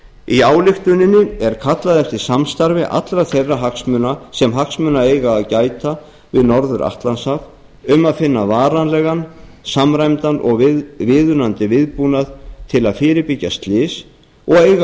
í ályktuninni er kallað eftir samstarfi allra þeirra hagsmunaaðila sem hagsmuna eiga að gæta við norður atlantshaf um að finna varanlegan samræmdan og viðunandi viðbúnað til að fyrirbyggja slys og eiga